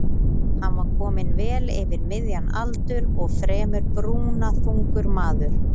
Hann var kominn vel yfir miðjan aldur og fremur brúnaþungur maður.